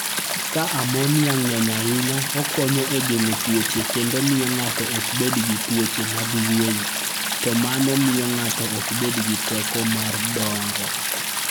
Ka ammonia ng'eny ahinya, okonyo e geng'o tuoche, kendo miyo ng'ato ok bed gi tuoche mag yueyo, to mano miyo ng'ato ok bed gi teko mar dongo.